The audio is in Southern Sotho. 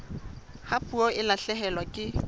ha puo e lahlehelwa ke